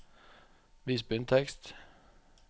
Vis bunntekst